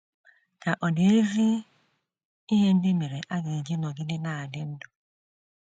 Ka ọ̀ dị ezi ihe ndị mere a ga - eji nọgide na - adị ndụ?